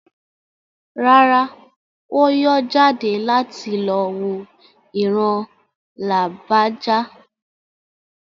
Rárá, Ó yọ́ jáde láti lọ wo ìran Lágbájá.